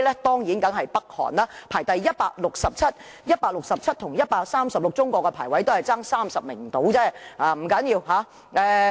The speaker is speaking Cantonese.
當然是北韓，排名167位，而中國排名 136， 兩者只相差30位而已，不要緊。